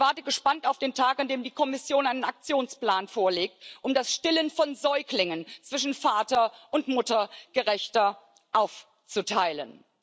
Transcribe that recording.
Ich warte gespannt auf den Tag, an dem die Kommission einen Aktionsplan vorlegt, um das Stillen von Säuglingen zwischen Vater und Mutter gerechter aufzuteilen.